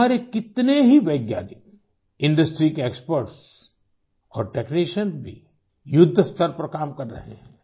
हमारे कितने ही वैज्ञानिकIndustryके expertsऔर टेक्नीशियन्स भी युद्ध स्तर पर काम कर रहे हैं